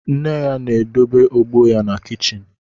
Nne ya na-edebe ogbo ya na kichin